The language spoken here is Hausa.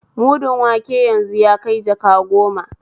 Mudun wanke yanzu yakai jaka goma